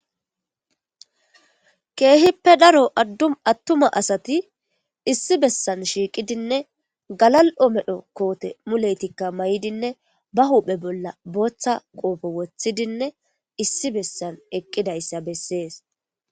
Keehippe daro addum attuma asati issi bessan shiiqidinne galal'o medho koote muletikka may'idinne ba huphe bolla booththa qoopo woththidinne issi bessan eqqidayssa bessees